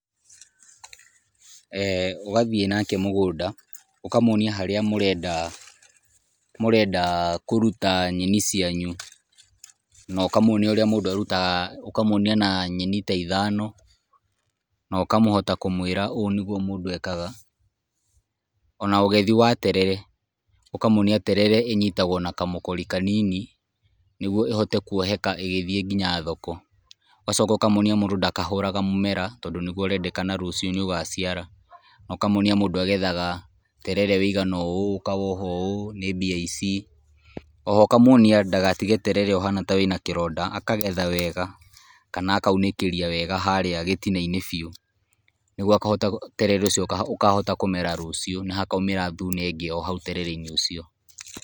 eeh Wathiĩ nake mũgũnda, ũkamwonia harĩa mũrenda mũrenda kũruta nyeni cianyu, na ũkamwonia ũrĩa mũndũ arutaga ũkamwonia na nyeni ta ithano, na ũkahota kũmwĩra ũũ nĩ guo mũndũ ekaga, ona ũgethi wa terere, ũkamwonia terere ĩnyitagwo na kamũkũri kanini, nĩguo ĩhote kwoheka igĩthiĩ nginya thoko, ũgacoka ũkamwonia mũndũ ndakahũraga mũmera, tondũ nĩguo ũrendekana rũciũ nĩ ũgaciara, na ũkamwonia mũndũ agethaga terere ũgana ũũ, ũkawoha ũũ, nĩ mbia ici, oho ũkamwonia ndagatige terere ũhana ta wĩ na kĩronda, akagetha wega kana akaunĩkĩria wega harĩa gĩtina-inĩ biũ, nĩguo akahota terere ũcio ũkaahota kũmera rũcio na hakaumĩra thuna ingĩ o hau terere-inĩ ũcio.